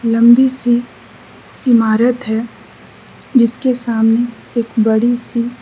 लम्बी सी ईमारत है जिसके सामने एक बड़ी सी --